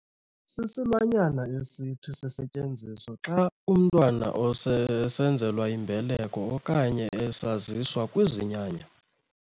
Sisilwanyana esithi sisetyenziswe xa umntwana esenzelwa imbeleko okanye esaziswa kwizinyanya .